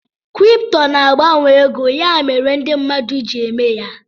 Kripto na-agbanwe ego ya mere ndị mmadụ ji eme ya.